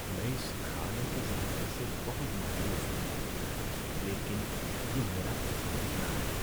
میں اس کھانے کے ذائقے سے بہت مایوس ہوں لیکن یہ میرا پسندیدہ ہے۔